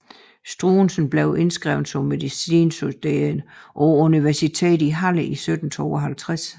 Struensee blev indskrevet som medicinstuderende på universitetet i Halle i 1752